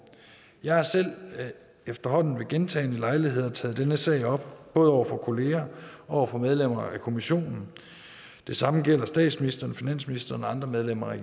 jeg har selv efterhånden ved gentagne lejligheder taget denne sag op både over for kolleger og over for medlemmer af kommissionen det samme gælder statsministeren finansministeren og andre medlemmer af